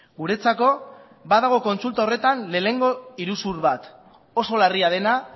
guretzako badago kontsulta horretan lehenengo iruzur bat oso larria dena